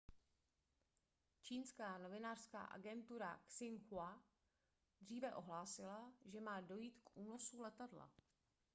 čínská novinářská agentura xinhua dříve ohlásila že má dojít k únosu letadla